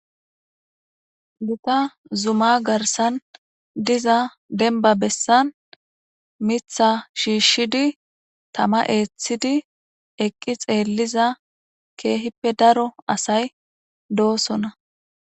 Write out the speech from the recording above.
gita zuma garsan diza denba bessan mitha shiishshidi tama eeththidi eqqi xeelliza keehippe daro asay doosona